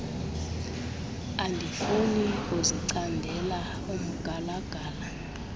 andifuni kuzicandela umgalagala